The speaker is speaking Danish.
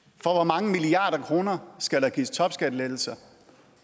for hvor mange milliarder kroner skal der gives topskattelettelser